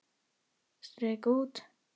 Strika út.